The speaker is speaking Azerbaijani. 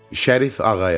Şərif Ağayar.